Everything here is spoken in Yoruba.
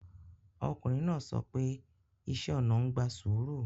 Ọkùnrin náà sọ pé iṣẹ́ ona ń gba sùúrù